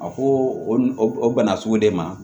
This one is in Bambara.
A ko o o bana sugu de ma